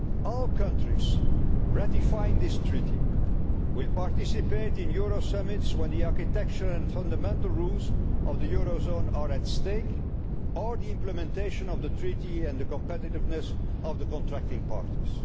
eurozone. All the countries ratifying this treaty will participate in Euro summits when the architecture and fundamental rules of the eurozone are at stake or the implementation of the treaty and the competitiveness of the contracting